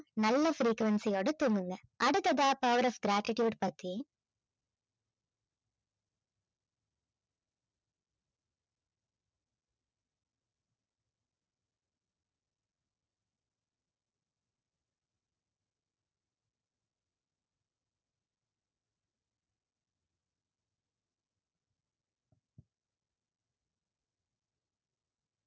நல்ல frequency ஓட தூங்குங்க அடுத்ததா power of gratitude பத்தி